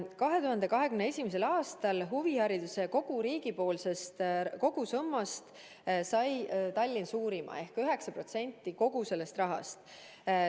2021. aastal sai Tallinn huvihariduse riigipoolsest kogusummast suurima osa ehk 9% kogu sellest rahast.